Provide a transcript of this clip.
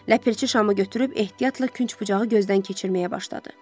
Ləpirçi şamı götürüb ehtiyatla künc bucağı gözdən keçirməyə başladı.